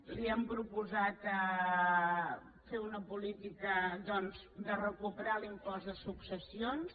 li hem proposat fer una política doncs de recuperar l’impost de successions